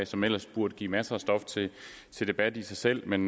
som ellers burde give masser af stof til debat i sig selv men